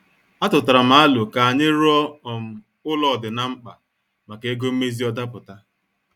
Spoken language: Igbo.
Atutaram alo ka anyị ruo um ụlọ ọ dị na- mkpa maka ego mmezi ọ daputa.